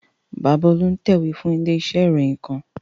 Bàbá Olú ń tẹ̀wé fún ilé iṣẹ́ ìròyìn kan